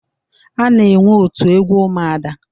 A na-enwe otu egwu ụmụada.